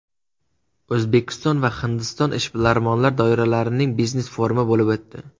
O‘zbekiston va Hindiston ishbilarmon doiralarining biznes-forumi bo‘lib o‘tdi.